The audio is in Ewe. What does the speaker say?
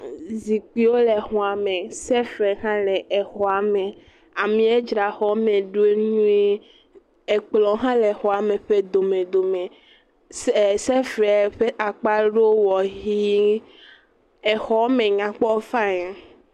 E zikpuiwo le xɔa me. Sefe hã le exɔa me. Amea dzra exɔ me ɖo nyuie. Ekplɔ hã le exɔ me ƒe domedome. Se e sefre ƒe akpa aɖewo wɔ ʋie. Exɔme nyakpɔ fani.